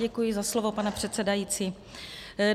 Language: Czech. Děkuji za slovo, pane předsedající.